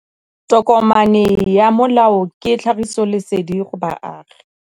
Tokomane ya molao ke tlhagisi lesedi go baagi.